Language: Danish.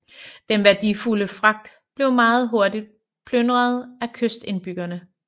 Den værdifulde fragt blev meget hurtig plyndret af kystindbyggerne